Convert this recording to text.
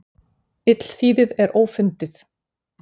Illþýðið er ófundið.